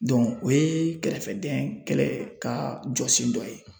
Dɔnku o ye kɛrɛfɛdɛn kɛlɛ ka jɔ sen dɔ ye